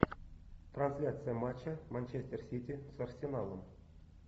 трансляция матча манчестер сити с арсеналом